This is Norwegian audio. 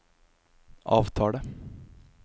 avtale